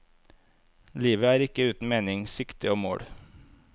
Livet er ikke uten mening, sikte og mål.